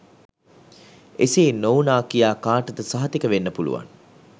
එසේ නොවුනා කියා කාටද සහතික වෙන්න පුලුවන්